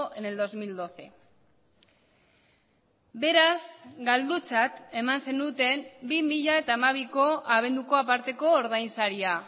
en el dos mil doce beraz galdutzat eman zenuten bi mila hamabiko abenduko aparteko ordainsaria